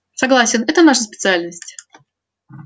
согласен это наша специальность